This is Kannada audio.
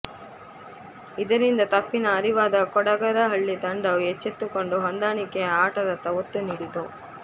ಇದರಿಂದ ತಪ್ಪಿನ ಅರಿವಾದ ಕೊಡಗರಹಳ್ಳಿ ತಂಡವು ಎಚ್ಚೆತ್ತುಕೊಂಡು ಹೊಂದಾಣಿಕೆಯ ಆಟದತ್ತ ಒತ್ತು ನೀಡಿತು